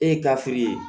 E ye ye